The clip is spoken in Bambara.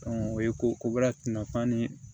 o ye ko kobara tuma ni